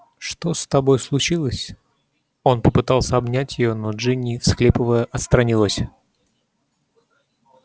что с тобой случилось он попытался обнять её но джинни всхлипывая отстранилась